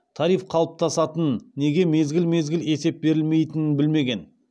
тариф қалыптасатын неге мезгіл мезгіл есеп берілмейтінін білмеген